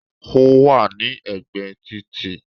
Ó wà ní ẹ̀gbẹ̀ títì